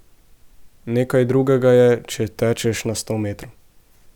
Nekaj drugega je, če tečeš na sto metrov.